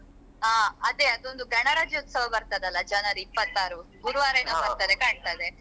ಹ ಅದೆ ಅದೊಂದು ಗಣರಾಜ್ಯೋತ್ಸವ ಬರ್ತದಲ್ಲ January ಇಪ್ಪತ್ತಾರು ಗುರುವಾರ ಏನೋ ಬರ್ತದೆ ಕಾಣ್ತದೆ.